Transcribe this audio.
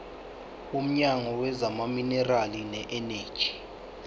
womnyango wezamaminerali neeneji